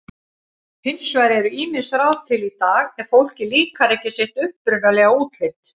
Hins vegar eru ýmis ráð til í dag ef fólki líkar ekki sitt upprunalega útlit.